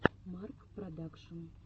марк продакшн